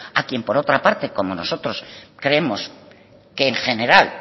a quien por otra parte como nosotros creemos que en general